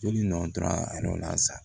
Joli nɔ tora a yɔrɔ la sa